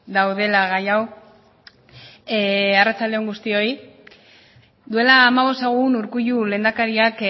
daudela gai hau arratsalde on guztioi duela hamabost egun urkullu lehendakariak